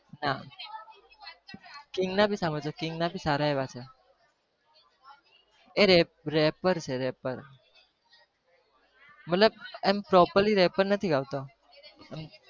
આહ king ના भी સાંભળજો king ના भी સારા એવા છે એ rapper છે rapper મતલબ એમ properly rapper નથી ગાવતો